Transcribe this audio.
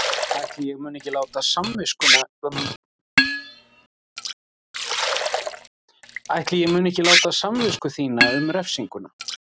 Ætli ég mundi ekki láta samvisku þína um refsinguna.